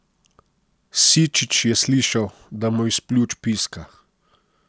Sičič je slišal, da mu iz pljuč piska.